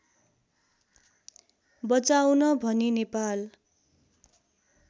बचाउन भनी नेपाल